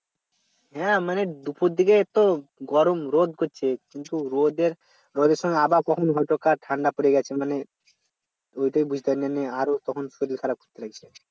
হ্যাঁ মানে দুপুর দিকে তো গরম রোদ করছে কিন্তু রোদের সময় আবার কখন হয়তো বা ঠান্ডা পড়ে গেছে মানে আরো তখন শরীর খারাপ করতে লাগছে